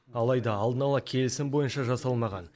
алайда алдын ала келісім бойынша жасалмаған